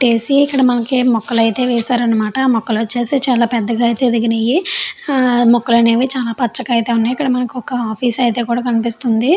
మట్టేసి మనకి మొక్కలైతే వేసారన్నమాట. మొక్కలు చేసి చాలా పెద్దగా అయితే ఎదిగినయీ. మొక్కలైతే మనకి చాలా పచ్చగా ఉన్నాయి.